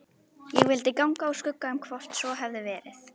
Ég vildi ganga úr skugga um hvort svo hefði verið.